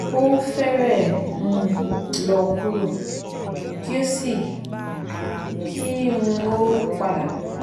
o fẹrẹ um lọ kuro ki o si ki um o pada